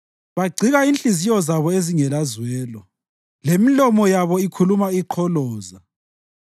Bagcika inhliziyo zabo ezingelazwelo, lemilomo yabo ikhuluma iqholoza.